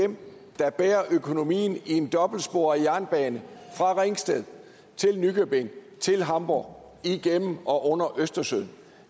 dem der bærer økonomien i en dobbeltsporet jernbane fra ringsted til nykøbing til hamburg igennem og under østersøen